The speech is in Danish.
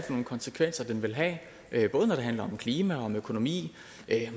nogle konsekvenser den vil have det er både når det handler om klima økonomi og